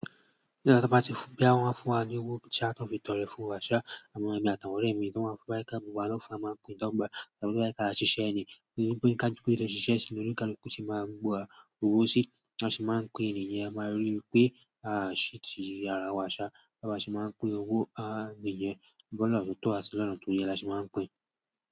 Nígbà tí a bá ti bóyá wọn wá fún wa ní owó sa tón fi tọrẹ fún wa ṣà àwọn èmi àtàwọn ọ̀rẹ́ mi, tí wọ́n wa fẹ́ ka paro a máa pín dọ́gbà. Tó bá jẹ́ wípé kí a ṣe ṣiṣẹ́ ni, nítorí pé ka ju pé jo ṣiṣẹ́ sí ni olukaluku ṣe máa gbọ́ wa owó sí, bá sì máa ń pín ènìyàn. A máa rí i pé à á ṣí ti àrá wa ṣá, bá n ṣe máa ń pín owó, à nìyẹn. Lọ́nà tó tọ́ a tí lọ́nà tó yẹ, là ṣe máa ń pín.